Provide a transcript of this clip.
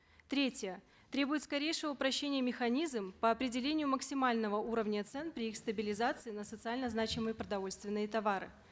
третье требует скорейшего упрощения механизм по определению максимального уровня цен при их стабилизации на социально значимые продовольственные товары